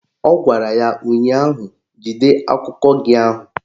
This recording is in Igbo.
Ọ gwara ya ụnyaahụ "Jide akụkọ gị ahụ"!